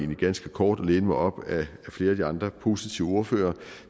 det ganske kort og læne mig op af flere af de andre positive ordførere